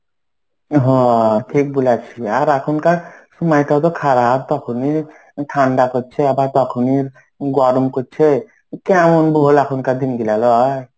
হ্যাঁ ঠিক বলেছি. আর এখনকার সময়টা তো খারাপ. তখনই ঠান্ডা পরছে. আবার তখনই গরম পরছে. কেমন বল এখনকার দিন গেল লা.